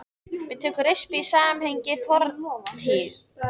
Við tökum rispu í sameiginlegri fortíð.